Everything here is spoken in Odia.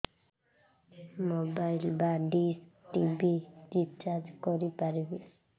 ମୋବାଇଲ୍ ବା ଡିସ୍ ଟିଭି ରିଚାର୍ଜ କରି ପାରିବି